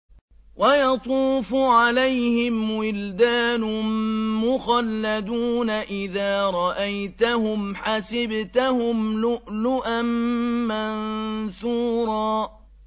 ۞ وَيَطُوفُ عَلَيْهِمْ وِلْدَانٌ مُّخَلَّدُونَ إِذَا رَأَيْتَهُمْ حَسِبْتَهُمْ لُؤْلُؤًا مَّنثُورًا